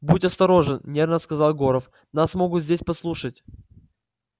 будь осторожен нервно сказал горов нас могут здесь подслушать